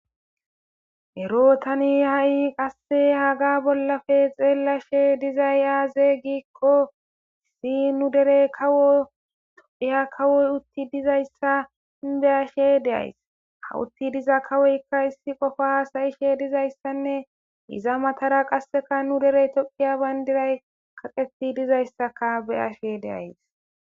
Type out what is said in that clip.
ero tani ha'i qasse haga bollafe xeellashe dizay aaze giikko issi nu derey kawo tophiya kawoy utti dizayssa beyashe de'ays ha utti diza kawoykka issi qofa hasa'ishe dizayssanne iza matara qasseka nu derey tophiya bayndiray kaqeti dizayssaka beyashe de'ays